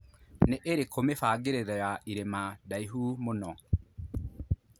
nĩ ĩrĩkũ mĩbangĩriro ya ĩrima ndaihu mũno